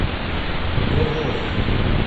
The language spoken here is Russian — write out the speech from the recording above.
горловым